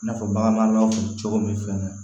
I n'a fɔ baganmaraw cogo min fɛnɛ na